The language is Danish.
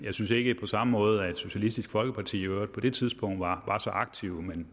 synes ikke på samme måde at socialistisk folkeparti i øvrigt på det tidspunkt var så aktive men